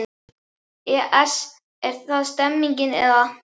ES Er það stemningin eða?